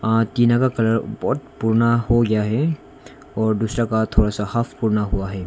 अह टीना का कलर बहुत पूर्णा हो गया है और दूसरा का थोड़ा सा हाफ पूर्णा हुआ है।